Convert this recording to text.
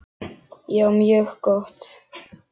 Já, mjög gott.